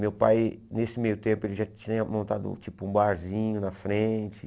Meu pai, nesse meio tempo, ele já tinha montado tipo um barzinho na frente.